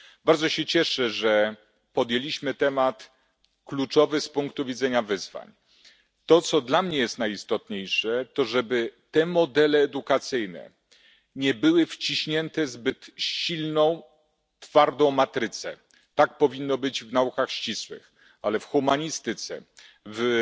Bardzo się cieszę, że podjęliśmy temat kluczowy z punktu widzenia wyzwań. To, co dla mnie jest najistotniejsze, to żeby te modele edukacyjne nie były wciśnięte w zbyt silną twardą matrycę tak powinno być w naukach ścisłych, ale w humanistyce,